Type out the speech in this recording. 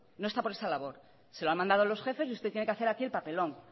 no está por esa labor se lo han mandado los jefes y usted tiene que hacer el papelón